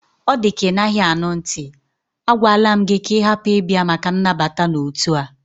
Ọ dịka Ị naghị anụ ntị, a gwala m gị ka ị hapụ ịbịa maka nnabata n'otu a!